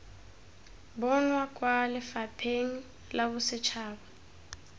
bonwa kwa lefapheng la bosetšhaba